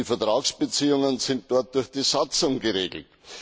Die Vertragsbeziehungen sind dort durch die Satzung geregelt.